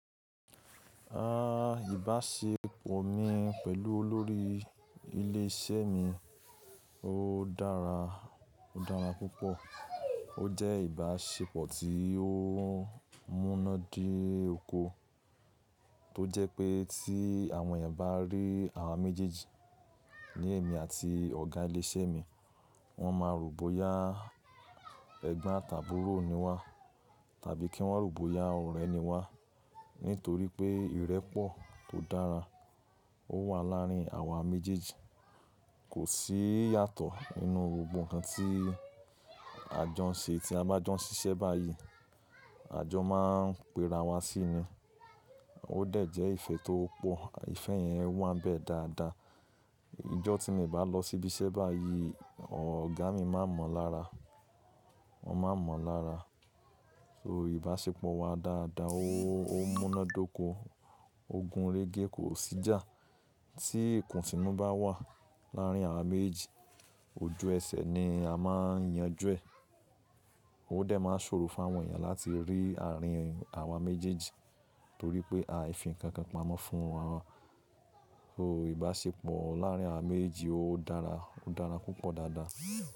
Ìbáṣepọ̀ mi pẹ̀lú olórí ilé iṣẹ́ mi ó dára, ó dára púpọ̀. Ó jẹ́ ìbáṣepọ̀ tí ó múnádé oko tó jẹ́ pé tí àwọn èèyàn bá rí àwa méjèèjì, ní èmi àti ọ̀gá ilé iṣẹ́ mi, wọ́n máa rò bóyá Ègbón àti àbúrò ni wá tàbí kí wọ́n rò bóyá ọ̀rẹ́ ni wá. Nítorí pé ìrẹ́pọ̀ tó dára wà láàárín àwa méjèèjì kò sí yàtọ̀ nínú gbogbo ǹkan tí a jọ ń ṣe. Tí a bá jọ ń ṣiṣẹ́ báyìí, àjọ máa ń pera wa sí i ni. Ó dẹ̀ jẹ́ ìfẹ́ tó pọ̀, ìfẹ́ ìyẹn wá bẹ̀ dáadáa. Ijọ́ tí mo bá lọ síbí iṣẹ́ báyìí, ọ̀gá mi má mọ̀ lára, won máa mọ̀ lára. So ìbáṣepọ̀ wa dáadáa, ó múnádóko, ogun régé kò sí jà. Tí ìkùnsínú bá wà láàárín àwa méjì, ojú ẹsẹ̀ ni a máa ń yanjú ẹ̀. Ó dẹ̀ máa ṣòro fún àwọn èèyàn láti rí àárín àwa méjèèjì torí pé a fi ǹkan kan pamọ́ fún wọn. So ìbáṣepọ̀ láàárín àwa méjì ó dára, ó dára púpọ̀ dáadáa.